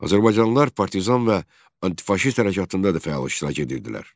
Azərbaycanlılar partizan və anti-faşist hərəkatında da fəal iştirak edirdilər.